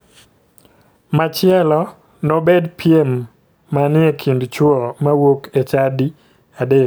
Machielo nobed piem mani e kind chuo mawuok e chadi adek.